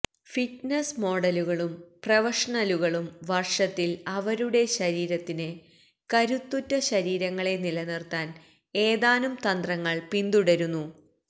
fitness മോഡലുകളും പ്രൊഫഷണലുകളും വർഷത്തിൽ അവരുടെ ശരീരത്തിന് കരുത്തുറ്റ ശരീരങ്ങളെ നിലനിർത്താൻ ഏതാനും തന്ത്രങ്ങൾ പിന്തുടരുന്നു